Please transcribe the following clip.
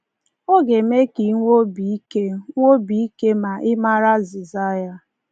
Ọ ga-eme ka i nwee obi ike nwee obi ike ma ị maara azịza ya.